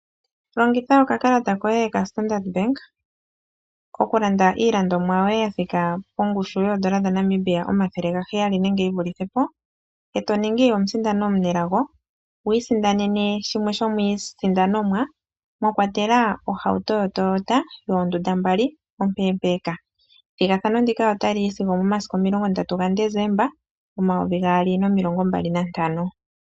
Longitha okakalata koye kaStandard bank okulanda iilandomwa yoye yathika pongushu yoodola dhaNamibia omathele gaheyali nenge yivulithe po. Eto ningi omusindani omunelago wiisindanene shimwe shomiisindanomwa mwakwatelwa ohauto yoToyota yoondunda mbali ompe. Ethigathano ndika otali yi sigo omomasiku 30 December 2025.